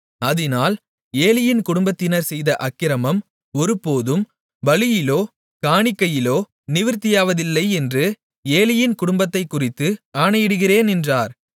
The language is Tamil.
அதினால் ஏலியின் குடும்பத்தினர் செய்த அக்கிரமம் ஒருபோதும் பலியிலோ காணிக்கையிலோ நிவிர்த்தியாவதில்லை என்று ஏலியின் குடும்பத்தைக்குறித்து ஆணையிட்டிருக்கிறேன் என்றார்